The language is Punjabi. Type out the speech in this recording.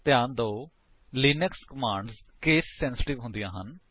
ਧਿਆਨ ਦਿਓ ਲਿਨਕਸ ਕਮਾਂਡਸ ਕੇਸ ਸੇਂਸਿਟਿਵ ਹੁੰਦੀਆਂ ਹਨ